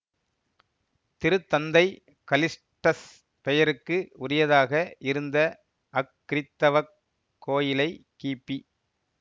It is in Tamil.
திருத்தந்தை கலிஸ்டஸ் பெயருக்கு உரியதாக இருந்த அக்கிறித்தவக் கோவிலை கிபி